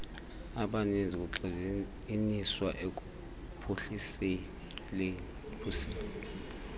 abaninzi kugxininiswa ekuphuhliseni